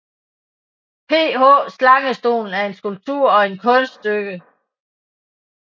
PH Slangestolen er en skulptur og et kunststykke